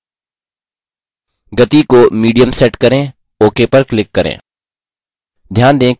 गति को medium set करें ok पर click करें